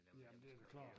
Jamen det da klart